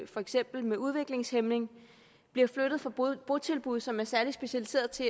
for eksempel udviklingshæmning bliver flyttet fra botilbud som er særligt specialiserede til